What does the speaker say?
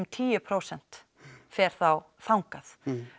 tíu prósent fer þá þangað